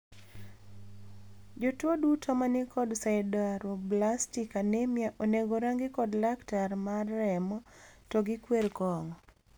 Jotuo duto manikod sideroblastic anemia onego orangi kod laktar mar remo to gikwer kong`o.